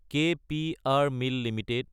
ক P R mill Ltd